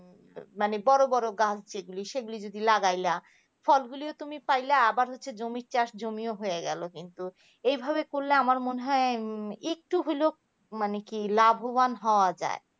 মানে বড় বড় কাজ গুলি মানে সেগুলি যদি লাগাইলা ফলগুলি তুমি পাইলা আবার সেই জমির চাষ জমিও হয়ে গেল. কিন্তু এইভাবে করলে আমার মনে হয় একটু হলেও মানে কি লাভবান হওয়া যায়.